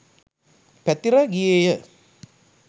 පැතිර ගියේ ය.